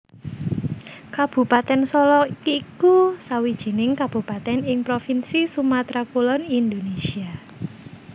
Kabupatèn Solok iku sawijining kabupatèn ing provinsi Sumatra Kulon Indonésia